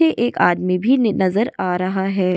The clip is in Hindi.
एक आदमी भी नजर आ रहा है।